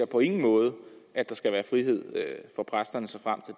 på ingen måde at der skal være frihed for præsterne såfremt